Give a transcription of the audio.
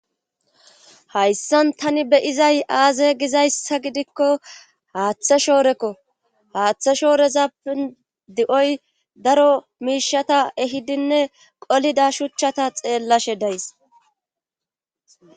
hayssan tani beyizay aaze gizayssa gidikko haaththa shoorekko haaththe shoorezappe di7oy daro miishata ehidinne qolida shuchchata xeellashe days